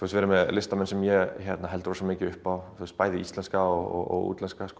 listamenn sem ég held mikið upp á bæði íslenska og